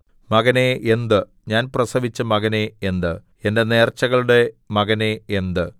മകനേ എന്ത് ഞാൻ പ്രസവിച്ച മകനേ എന്ത് എന്റെ നേർച്ചകളുടെ മകനേ എന്ത്